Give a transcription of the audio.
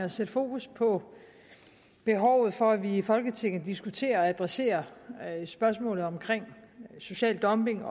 at sætte fokus på behovet for at vi i folketinget diskuterer og adresserer spørgsmålet om social dumping